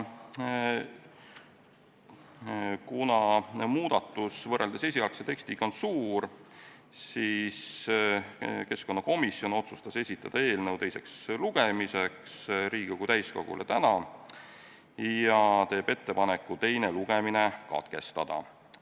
Kuna muudatus võrreldes esialgse tekstiga on suur, siis keskkonnakomisjon otsustas esitada eelnõu teiseks lugemiseks Riigikogu täiskogule täna ja teeb ettepaneku teine lugemine katkestada.